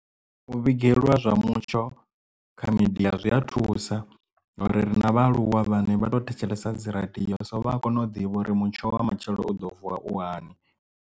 U vhigelwa zwa mutsho kha midia zwi a thusa ngori ri na vha aluwa vhane vha to thetshelesa dzi radio so vha a kona u ḓivha uri mutsho wa matshelo u ḓo vuwa u hani.